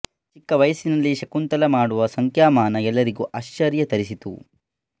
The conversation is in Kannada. ಚಿಕ್ಕ ವಯಸ್ಸಿನಲ್ಲೆ ಶಂಕುತಲಾ ಮಾಡುವ ಸಂಖ್ಯಾಮಾನ ಎಲ್ಲರಿಗೂ ಆಶ್ಚರ್ಯ ತರಿಸಿತು